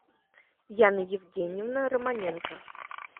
яна евгеньевна романенко